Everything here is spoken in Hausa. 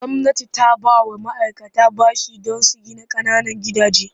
Gwamnati za ta ba wa ma'aikata bashi don gina ƙananan gidaje.